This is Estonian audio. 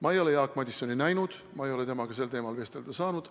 Ma ei ole Jaak Madisoni näinud, ma ei ole temaga sel teemal vestelda saanud.